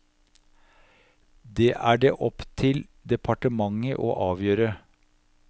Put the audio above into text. Det er det opp til departementet å avgjøre.